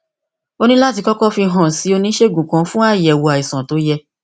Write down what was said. o ní láti kókó fi hàn án sí oníṣègùn kan fún àyèwò àìsàn tó yẹ